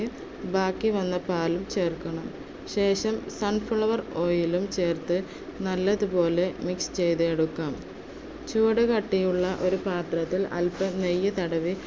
ബാക്കിവന്ന പാലും ചേർക്കണം. ശേഷം sunflower oil ഉം ചേർത്ത് നല്ലതുപോലെ mix ചെയ്തെടുക്കാം. ചുവടുകട്ടിയുള്ള ഒരു പാത്രത്തിൽ അല്പം നെയ്യ് തടവി